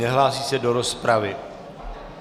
Nehlásí se do rozpravy.